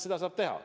Seda saab teha.